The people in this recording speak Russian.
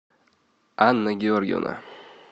анна георгиевна